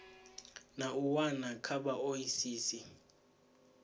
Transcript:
na u wana kha vhaoisisi